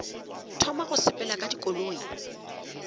thoma go sepela ka dikoloi